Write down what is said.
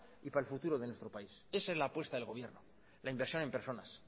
y para el futuro de nuestro país esa es la apuesta del gobierno la inversión en personas